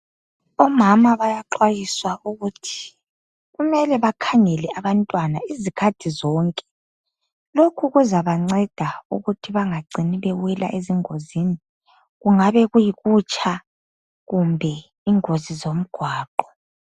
Omama bayeaxhwayiswa ukuthi kumele bakhangele abantwana izikhathi zonke Loku kuzabanceda ukuthi bangaweli ezingozini. Kungaba kuyikutsha kumbe ingozi zemgwaqo.